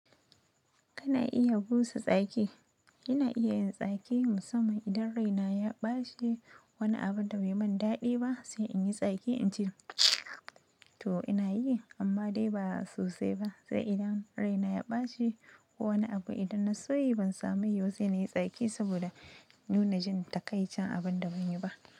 Kana iya busa tsaki? Ina iya yin tsaki musamman idan raina ya ɓaci wani abu da bai yi min daɗi ba sai in yi tsaki ince (mtsww)to ina yi amma dai ba sosai ba. Sai idan raina ya ɓace ko wani abu idan na so yi ban samu yi ba sai na yi tsaki saboda nuna jin takaicin abun da ban yi ba.